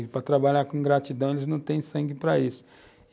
E para trabalhar com ingratidão, eles não têm sangue para isso.